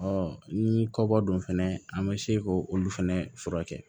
ni kɔkɔ dun fɛnɛ an be se k'olu fɛnɛ furakɛ